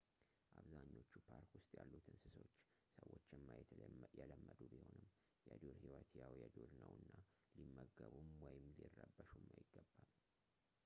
አብዛኞቹ ፓርክ ውስጥ ያሉት እንስሦች ሰዎችን ማየት የለመዱ ቢሆኑም የዱር ህይወት ያው የዱር ነውና ሊመገቡም ወይም ሊረበሹም አይገባም